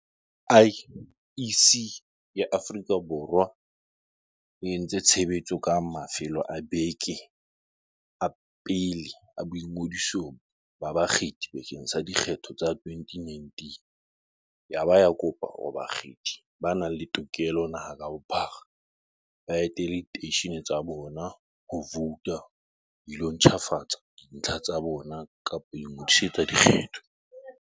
IEC ya Aforika Bor wa e e ntse tsebiso ka mafelo a beke a pele a boingodiso ba bakgethi bakeng sa dikgetho tsa 2019 yaba ya kopa hore bakgethi ba nang le tokelo naha ka bophara, ba etele diteishene tsa bona tsa ho vouta ho ilo ntjhafatsa dintlha tsa bona kapa ho ingodisetsa dikgetho.